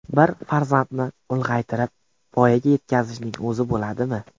Bir farzandni ulg‘aytirib, voyaga yetkazishning o‘zi bo‘ladimi?